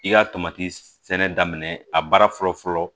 I ka tomati sɛnɛ daminɛ a baara fɔlɔ fɔlɔ